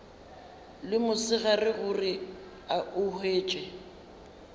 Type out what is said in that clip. le mosegare gore o hwetše